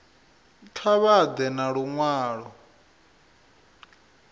kha vha ḓe na luṅwalo